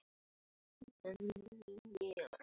Og hann ljómaði af ánægju.